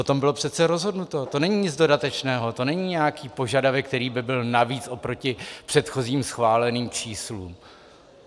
O tom bylo přece rozhodnuto, to není nic dodatečného, to není nějaký požadavek, který by byl navíc oproti předchozím schváleným číslům.